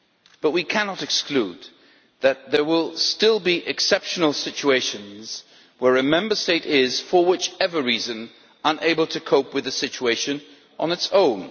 But we cannot exclude that there will still be exceptional situations where a Member State is, for whatever reason, unable to cope with the situation on its own.